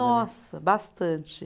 Nossa, bastante.